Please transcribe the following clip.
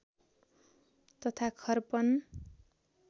तथा खर्पन